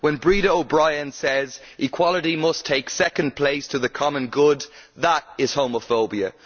When Breda O'Brien says that equality must take second place to the common good, that is homophobia.